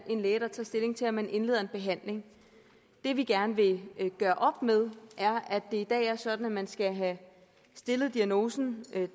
en læge der tager stilling til om man indleder en behandling det vi gerne vil gøre op med er at det i dag er sådan at man skal have stillet diagnosen